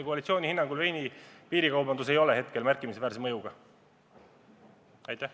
Koalitsiooni hinnangul veini piirikaubandusel praegu märkimisväärset mõju ei ole.